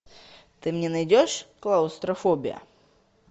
ты мне найдешь клаустрофобия